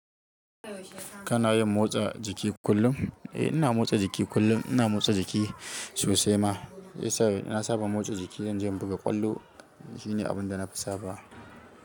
Kana yin motsa jiki kullum? Eh, ina motsa jiki kullum. Ina motsa jiki sosai ma. Na saba motsa jiki zan je in buga ƙwallo. Shine abun da na fi saba.